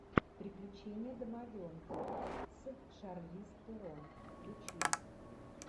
приключения домовенка с шарлиз терон включи